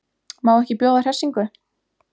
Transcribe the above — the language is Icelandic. Má ekki bjóða hressingu?